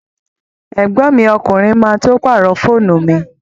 Ẹ̀gbọ́n mi ọkùnrin má tó pàrọ̀ fóònù mi